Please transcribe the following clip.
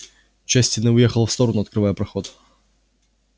часть стены уехала в сторону открывая проход